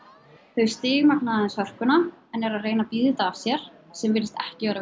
þau stigmagna aðeins hörkuna en eru að reyna að bíða þetta af sér sem virðist ekki vera að